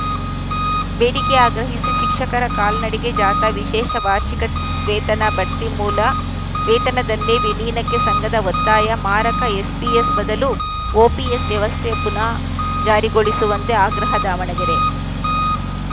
ಬೇಡಿಕೆ ಆಗ್ರಹಿಸಿ ಶಿಕ್ಷಕರ ಕಾಲ್ನಡಿಗೆ ಜಾಥಾ ವಿಶೇಷ ವಾರ್ಷಿಕ ವೇತನ ಬಡ್ತಿ ಮೂಲ ವೇತನದಲ್ಲೇ ವಿಲೀನಕ್ಕೆ ಸಂಘದ ಒತ್ತಾಯ ಮಾರಕ ಎಸ್ ಪಿಎಸ್‌ ಬದಲು ಓಪಿಎಸ್‌ ವ್ಯವಸ್ಥೆ ಪುನಾ ಜಾರಿಗೊಳಿಸುವಂತೆ ಆಗ್ರಹ ದಾವಣಗೆರೆ